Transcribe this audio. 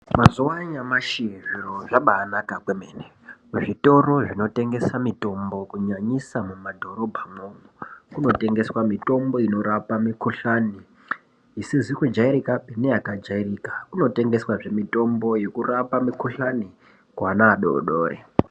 Mazuwa anyamashi zviro zvabaanaka kwemene kuzvitoro zvinotengesa mitombo kunyanyisa mumadhorobhamwo kunotengeswa mitombo inorapa mikhuhlani isizikujairkapi neyakajairika kunotengeswazve mitombo yekurapa mikhuhlani kuana adodori.